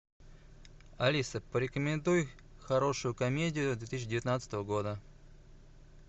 алиса порекомендуй хорошую комедию две тысячи девятнадцатого года